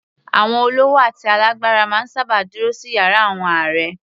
Àwọn olówó àti alágbára máa ń sábà dúró sí yàrá àwọn ààrẹ